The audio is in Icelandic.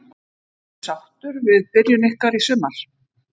Ertu sáttur við byrjun ykkar í sumar?